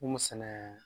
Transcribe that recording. Mun sɛnɛ